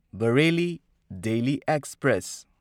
Bareilly Delhi express